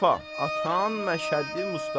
Atam Məşədi Mustafa.